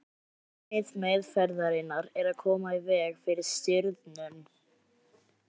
markmið meðferðarinnar er að koma í veg fyrir stirðnun